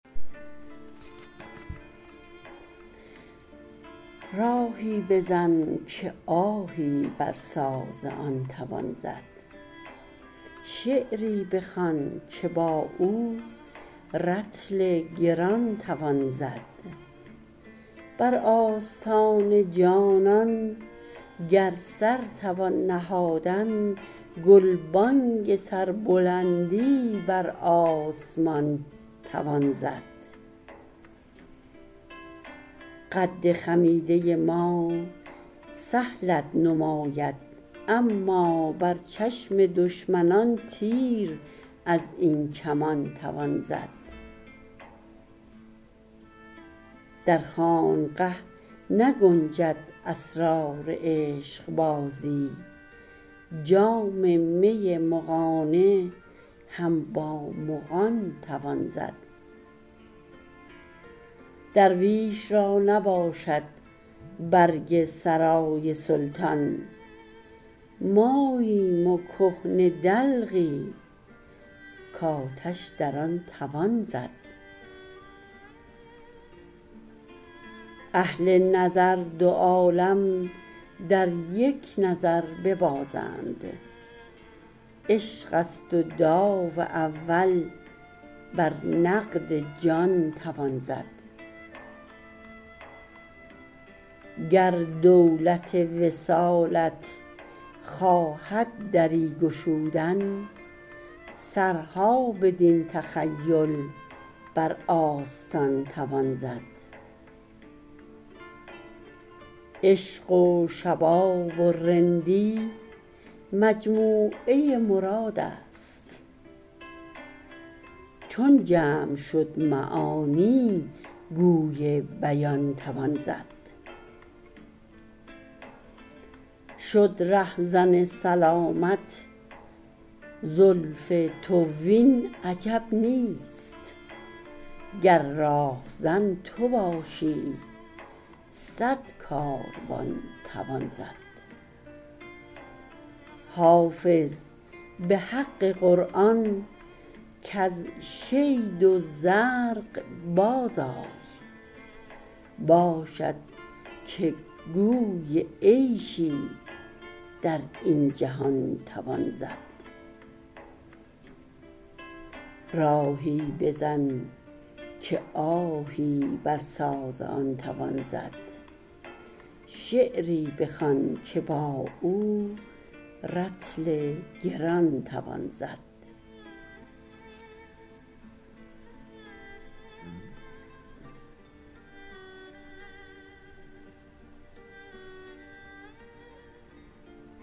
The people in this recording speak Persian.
راهی بزن که آهی بر ساز آن توان زد شعری بخوان که با او رطل گران توان زد بر آستان جانان گر سر توان نهادن گلبانگ سربلندی بر آسمان توان زد قد خمیده ما سهلت نماید اما بر چشم دشمنان تیر از این کمان توان زد در خانقه نگنجد اسرار عشقبازی جام می مغانه هم با مغان توان زد درویش را نباشد برگ سرای سلطان ماییم و کهنه دلقی کآتش در آن توان زد اهل نظر دو عالم در یک نظر ببازند عشق است و داو اول بر نقد جان توان زد گر دولت وصالت خواهد دری گشودن سرها بدین تخیل بر آستان توان زد عشق و شباب و رندی مجموعه مراد است چون جمع شد معانی گوی بیان توان زد شد رهزن سلامت زلف تو وین عجب نیست گر راهزن تو باشی صد کاروان توان زد حافظ به حق قرآن کز شید و زرق بازآی باشد که گوی عیشی در این جهان توان زد